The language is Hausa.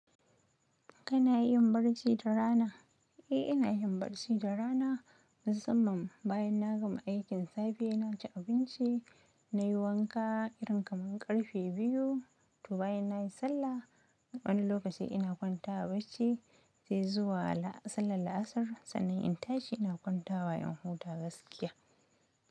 Kana yin barci da rana? Eh, ina yin barci da rana musamman bayan na gama aikin safe. Sai naci abinci nayi wanka irin kamar ƙarfe biyu to bayan na yi sallah, wani lokaci ina kwanta a barci sai zuwa sallar la'asar. Sannan in tashi ina kwanta wa in huta gaskiya.